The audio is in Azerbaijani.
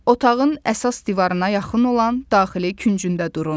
Otağın əsas divarına yaxın olan daxili küncündə durun.